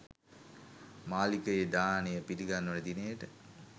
මාලිගයේ දානය පිළිගන්වන දිනයට